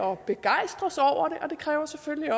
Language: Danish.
og begejstres over det det kræver selvfølgelig